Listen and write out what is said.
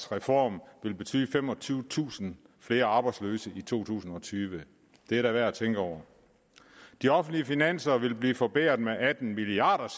reformen vil betyde femogtyvetusind flere arbejdsløse i to tusind og tyve det er da værd at tænke over de offentlige finanser vil blive forbedret med atten milliard